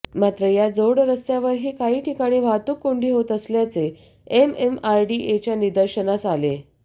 मात्र या जोडरस्त्यावरही काही ठिकाणी वाहतूक कोंडी होत असल्याचे एमएमआरडीएच्या निदर्शनास आले